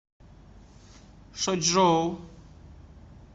шочжоу